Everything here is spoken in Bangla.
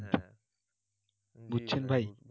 বুঝছেন ভাই?